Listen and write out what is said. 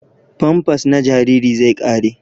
Famfas na jariri zai ƙare.